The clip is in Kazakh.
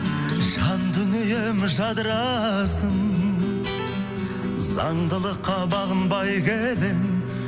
жан дүнием жадырасын заңдылыққа бағынбай келемін